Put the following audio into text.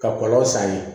Ka kɔlɔlɔ san ye